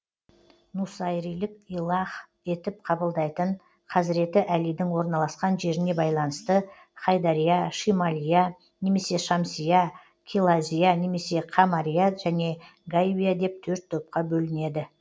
нусайрилік илах етіп қабылдайтын хазіреті әлидің орналасқан жеріне байланысты хайдария шималия немесе шамсия килазия немесе камария және гайбия деп төрт топқа бөлінеді